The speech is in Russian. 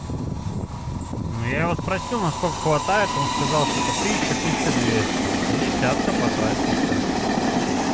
ну я его спросил насколько хватает он сказал типа тысяча тысяча двести десятка по трассе что